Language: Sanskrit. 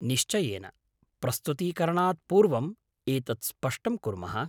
निश्चयेन, प्रस्तुतीकरणात् पूर्वम् एतत् स्पष्टं कुर्मः।